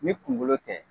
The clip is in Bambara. Ni kunkolo tɛ